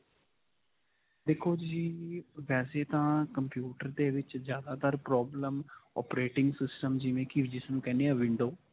ਦੇਖੋ ਜੀ, ਵੈਸੇ ਤਾਂ computer ਦੇ ਵਿੱਚ ਜਿਆਦਾ ਤਰ problem operating system ਜਿਵੇਂ ਕਿ ਜਿਸਨੂੰ ਕਹਿੰਦੇ ਹੈ window.